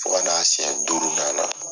Fo ka n'a siyɛn duurunan la.